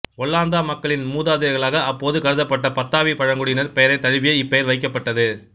ஒல்லாந்த மக்களின் மூதாதையர்களாக அப்போது கருதப்பட்ட பத்தாவி பழங்குடியினரின் பெயரைத் தழுவியே இப்பெயர் வைக்கப்பட்டது